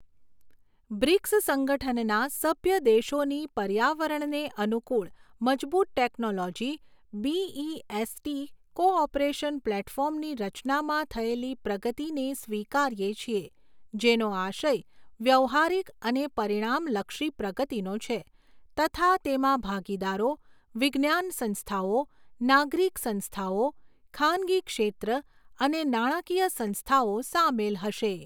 BRICS સંગઠનના સભ્ય દેશોની પર્યાવરણને અનુકૂળ મજબૂત ટેક્નોલોજી બીઈએસટી કોઓપરેશન પ્લેટફોર્મની રચનામાં થયેલી પ્રગતિને સ્વીકારીએ છીએ, જેનો આશય વ્યવહારિક અને પરિણામલક્ષી પ્રગતિનો છે તથા તેમાં ભાગીદારો, વિજ્ઞાન સંસ્થાઓ, નાગરિક સંસ્થાઓ, ખાનગી ક્ષેત્ર અને નાણાકીય સંસ્થાઓ સામેલ હશે.